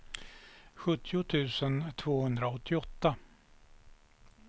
sjuttio tusen tvåhundraåttioåtta